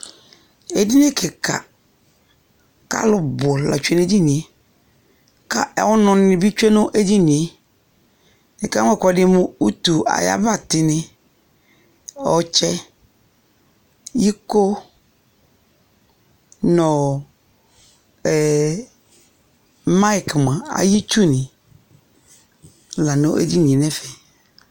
Edini kɩka, k'alʋ bʋ la tsue n'edinie; ka ɔnʋnɩ bɩ tsue n'edinie Ekele ɛkʋɛdɩ mʋ utu ay'abatɩnɩ : ɔtsɛ, iko, n'ɔɔ ɛɛ mayɩk mʋa ay'itsunɩ la n'edinie n'ɛfɛ